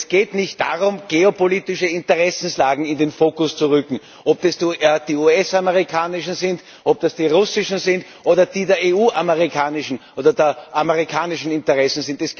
Und es geht nicht darum, geopolitische Interessenlagen in den Fokus zu rücken, ob es die US amerikanischen sind, ob es die russischen sind oder die EU amerikanischen oder die amerikanischen Interessen.